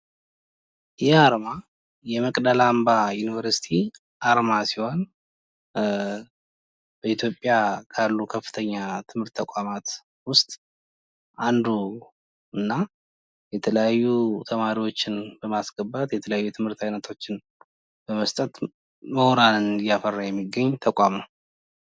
ይህ አርማ የመቅደላ አምባ ዩኒቨርስቲ አርማ ሲሆን በኢትዮጵያ ካሉ ከፍተኛ የትምህርት ተቋማት ውስጥ አንዱ እና የተለያዩ ተማሪዎችን በማስገባት የተለያዩ የትምህርት አይነቶችን በመስጠት ምሁራንን እያፈራ የሚገኝ ተቋም ነው።